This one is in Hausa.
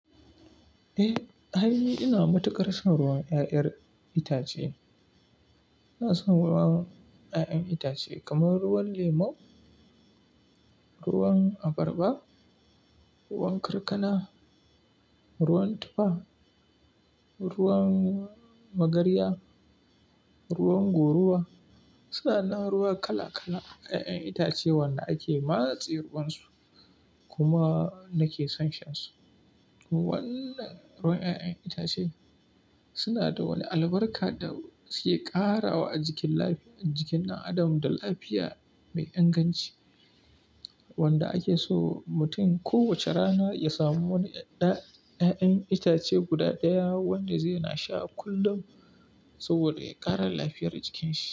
Eh, ai ina matuƙar son ruwan 'ya'yan itace. Ina son ruwan 'ya'yan itace kamar ruwan lemu, ruwan abarba, ruwan karkana, ruwan tufa, ruwan magarya, ruwan goruba. Suna nan ruwa kala-kala 'ya'yan itace wanda ake matse ruwansu kuma nake son shan su. Wannan ruwan 'ya'yan itace suna da wani albarka da suke ƙarawa a jikin lafi-- a jikin ɗan adam da lafiya mai inganci wanda ake so mutum kowace rana ya samu wani ɗa-- 'ya'yan itace guda ɗaya wanda zai na sha kullum saboda ya ƙara lafiyar jikin shi.